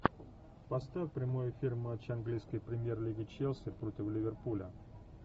поставь прямой эфир матча английской премьер лиги челси против ливерпуля